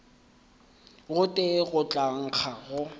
gotee go tla nkga go